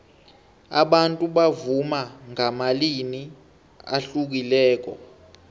abantu bavuma ngamalimi ahlukileko